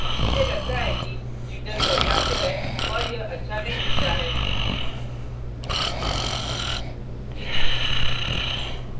मुझे लगता है कि jitter पर्याप्त है और यह अच्छा नहीं दिखता है